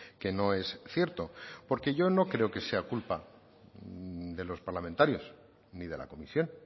que no es cierto porque yo no creo que sea culpa de los parlamentarios ni de la comisión